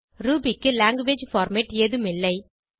Ruby க்கு language format ஏதும் இல்லை